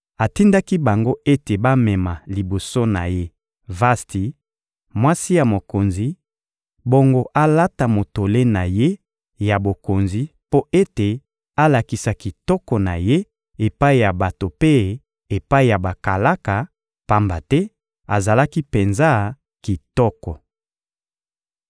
Atindaki bango ete bamema liboso na ye Vasti, mwasi ya mokonzi; bongo alata motole na ye ya bokonzi mpo ete alakisa kitoko na ye epai ya bato mpe epai ya bakalaka, pamba te azalaki penza kitoko.